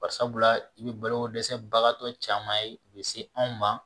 Barisabula i bɛ baloko dɛsɛ bagatɔ caman ye u bɛ se anw ma